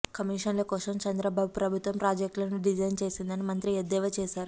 కమీషన్ల కోసం చంద్రబాబు ప్రభుత్వం ప్రాజెక్ట్లను డిజైన్ చేసిందని మంత్రి ఎద్దేవా చేశారు